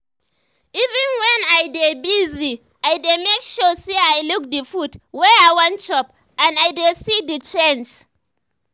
even when i dey busy i dey make sure say i look the food wey i wan chop and i dey see the changes